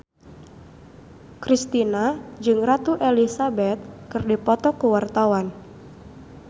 Kristina jeung Ratu Elizabeth keur dipoto ku wartawan